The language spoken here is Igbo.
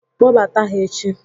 Kpobata ha echi!